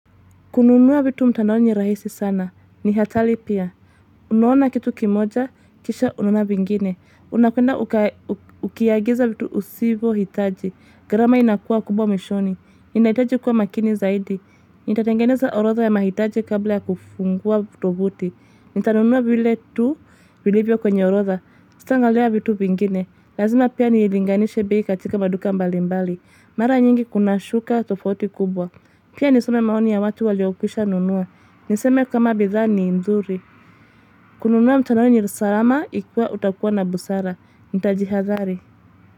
Kununua vitu mtandaoni ni rahisi sana. Ni hatari pia. Unaona kitu kimoja, kisha unaona vingine. Unapenda ukiagiza vitu usivohitaji. Gharama inakua kubwa mwishoni. Inahitaji kuwa makini zaidi. Nitatengeneza orodha ya mahitaji kabla ya kufungua vutovuti. Nitanunua vile tu, vilevyo kwenye orodha. Sitaangalia vitu vingine. Lazima pia nilinganishe bei katika maduka mbali mbali. Mara nyingi kuna shuka tofauti kubwa. Pia nisome maoni ya watu waliokwisha nunua. Niseme kama bidhaa ni nzuri. Kununua mtandaoni ni salama ikiwa utakuwa na busara. Nitajihadhari.